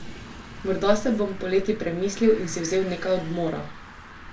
Morda se bom poleti premislil in si vzel nekaj odmora!